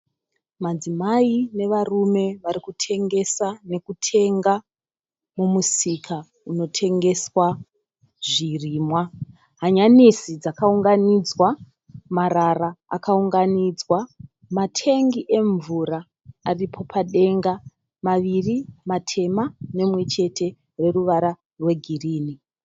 Madzimai nevarume varikutengesa nekutenga mumusika unotengeswa zvirimwa. Hanyanisi dzakaunganidzwa. Marara akaungaudzwa. Matengi emvura aripo padenga, maviri matema nerimwe chete reruvara rwegirinhi.